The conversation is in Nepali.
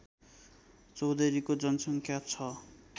चौधरीको जनसङ्ख्या छ